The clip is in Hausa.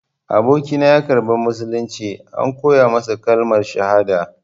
Abokina ya karɓi musulunci, an koya masa kalmar shahada.